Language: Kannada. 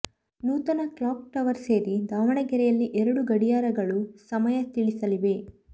ನೂತನ ಕ್ಲಾಕ್ ಟವರ್ ಸೇರಿ ದಾವಣಗೆರೆಯಲ್ಲಿ ಎರಡು ಗಡಿಯಾರಗಳು ಸಮಯ ತಿಳಿಸಲಿವೆ